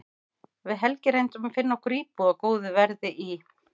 Við Helgi reyndum að finna okkur íbúð á góðu verði í